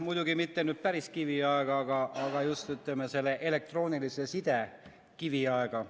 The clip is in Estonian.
Muidugi mitte päris kiviaega, vaid just selle elektroonilise side kiviaega.